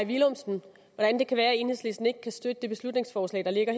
villumsen hvordan det kan være at enhedslisten ikke kan støtte det beslutningsforslag der ligger